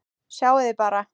Sjáiði bara!